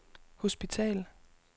hospital